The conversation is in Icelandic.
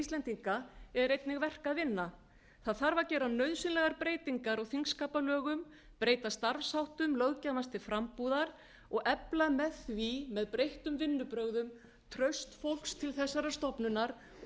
íslendinga er einnig verk að vinna það þarf að gera nauðsynlegar breytingar á þingskapalögum breyta starfsháttum löggjafans til frambúðar og efla með því með breyttum vinnubrögðum traust fólks til þessarar stofnunar og